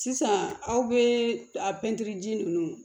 Sisan aw bɛ a pɛntiri ji ninnu